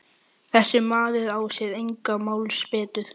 Þessi maður á sér engar málsbætur.